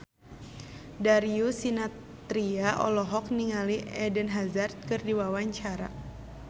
Darius Sinathrya olohok ningali Eden Hazard keur diwawancara